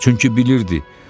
Çünki bilirdi.